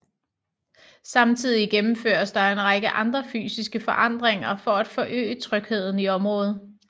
Samtidig gennemføres der en række andre fysiske forandringer for at forøge trygheden i området